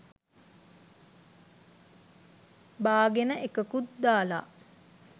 බාගෙන එකකුත් දාලා